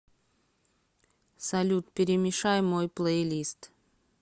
салют перемешай мой плейлист